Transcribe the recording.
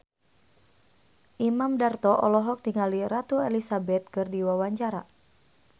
Imam Darto olohok ningali Ratu Elizabeth keur diwawancara